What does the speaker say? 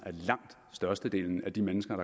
at de mennesker